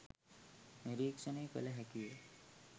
නිරීක්‍ෂණය කළ හැකිය.